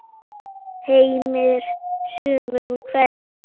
Heimir: Sumum hverjum?